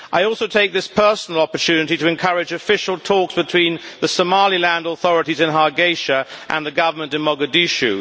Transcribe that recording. I also take this personal opportunity to encourage official talks between the Somaliland authorities in Hargeisa and the Government in Mogadishu.